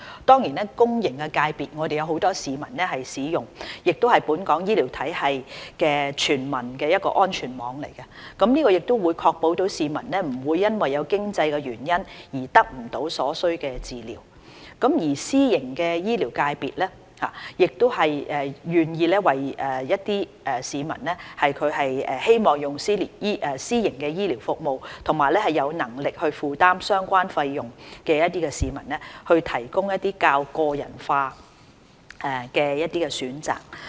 當然在公營醫療界別，有很多市民使用，也是本港醫療體系中全民的安全網，確保市民不會因經濟原因而得不到所需的醫療服務，而私營醫療界別願意為一些希望使用私營醫療服務和有能力負擔相關費用的市民提供較個人化的選擇。